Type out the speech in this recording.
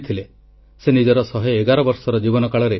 ଚଳିତ ମାସ 21 ତାରିଖ ଦିନ ଆମ ଦେଶକୁ ଗୋଟିଏ ଗଭୀର ଶୋକ ସମ୍ବାଦ ମିଳିଲା